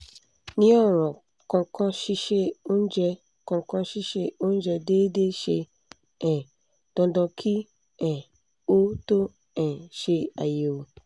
ni oran kankansise oúnjẹ kankansise oúnjẹ déédé se um dàńdán ki um o to um se àyèwò